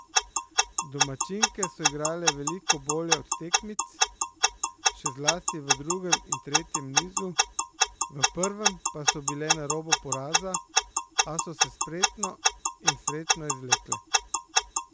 Domačinke so igrale veliko bolje od tekmic, še zlasti v drugem in tretjem nizu, v prvem pa so bile na robu poraza, a so se spretno in srečno izvlekle.